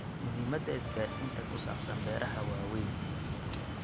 Muhiimadda isgaarsiinta ku saabsan beeraha waa weyn.